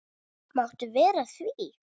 Máttu vera að því?